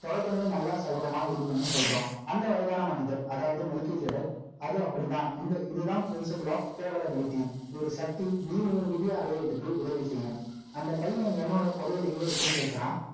தொடக்கமே, நல்லா, சகுனமா இருக்கணும்ன்னு, சொல்றான். அந்த வயதான மனிதர், அதாவதுநிக்கி ஜெரக் அது அப்படித்தான். இந்த, இதுதான் principle of favourability ஒரு சக்தி, நீ உன் விதிய அடையறதுக்கு, உதவி செய்யும். அந்தப் பையன், என்னோட புதையல், எங்க இருக்குன்னு கேக்கறான்